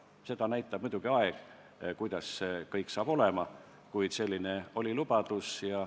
Seda, kuidas kõik saab olema, näitab muidugi aeg, kuid selline oli lubadus.